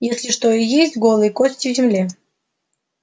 если что и есть голые кости в земле